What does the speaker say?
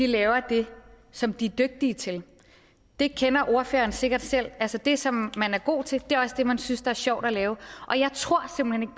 laver det som de er dygtige til det kender ordføreren sikkert selv altså det som man er god til er også det man synes er sjovt at lave og jeg tror simpelt hen